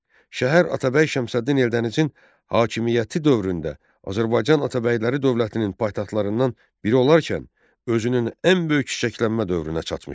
Şəhər Atabəy Şəmsəddin Eldənizin hakimiyyəti dövründə Azərbaycan Atabəyləri dövlətinin paytaxtlarından biri olarkən özünün ən böyük çiçəklənmə dövrünə çatmışdı.